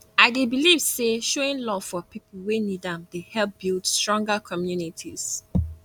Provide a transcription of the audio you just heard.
i dey believe say showing love for people wey need am dey help build stronger communities